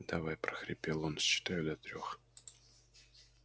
давай прохрипел он считаю до трёх